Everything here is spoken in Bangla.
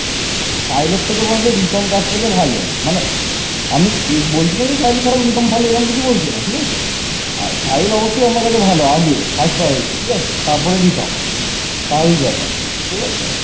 শশাঙ্ক হর্ষবর্ধনের সাথে সর্বশক্তি দিয়ে লড়াই করেন